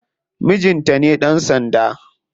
Mijinta ne dan sanda.